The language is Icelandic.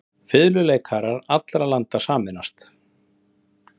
Fiðluleikarar allra landa sameinist.